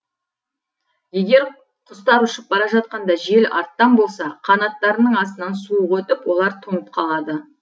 егер құстар ұшып бара жатқанда жел арттан болса қанаттарының астынан суық өтіп олар тоңып қалады